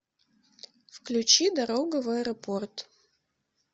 включи дорога в аэропорт